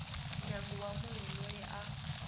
ndyangu wa munhu loyi a